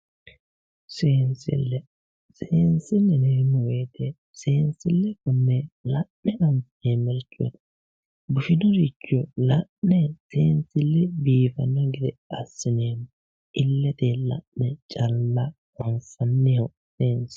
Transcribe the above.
seensile seensille yineemmo wote seensille xumme la'ne anfeemmoricho bushinoricho la'ne seensille biifanno gede assine illete la'ne calla anfanni seensilu.